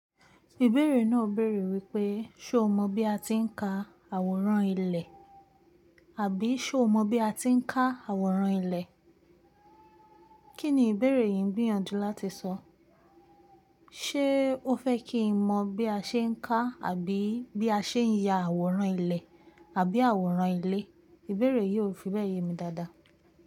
Ìbéèrè náà béèrè wípé, ṣé o mọ bí a ti ń ka àwòrán ilẹ̀? Àbí ṣé o mọ bí a ti ń ká àwòrán ilẹ̀? Kí ni ìbéèrè yìí ń gbi yànjú láti sọ? Ṣé ó fẹ́ kí n mọ bí a ṣe ń ká àbí bí a ṣe ń ya àwòrán ilẹ̀ àbí àwòrán ilé? Ìbéèrè yìí ò fi bẹ́ẹ̀ ye mi dáadáa.